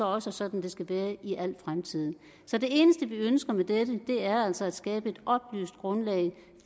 også sådan det skal være i al fremtid så det eneste vi ønsker med dette er altså at skabe et oplyst grundlag